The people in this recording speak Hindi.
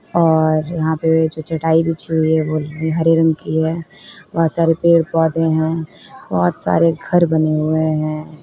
और यहां पे भी चटाई बिछी है हरे रंग की है बहुत सारे पेड़ पौधे हैं बहुत सारे घर बने हुए हैं।